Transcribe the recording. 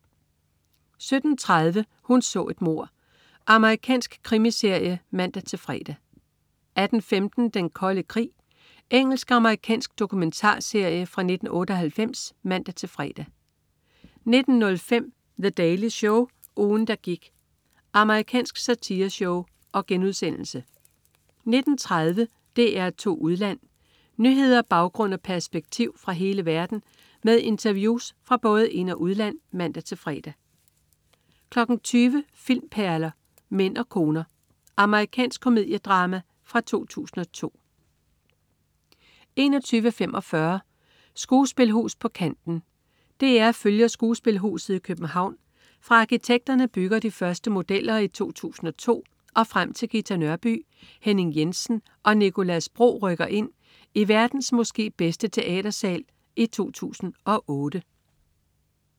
17.30 Hun så et mord. Amerikansk krimiserie (man-fre) 18.15 Den Kolde Krig. Engelsk/amerikansk dokumentarserie fra 1998 (man-fre) 19.05 The Daily Show. Ugen, der gik.* Amerikansk satireshow 19.30 DR2 Udland. Nyheder, baggrund og perspektiv fra hele verden med interviews fra både ind- og udland (man-fre) 20.00 Filmperler: Mænd og koner. Amerikansk komediedrama fra 2002 21.45 Skuespilhus på kanten. DR følger skuespilhuset i København, fra arkitekterne bygger de første modeller i 2002, og frem til Ghita Nørby, Henning Jensen og Nicolas Bro rykker ind i "verdens måske bedste teatersal" i 2008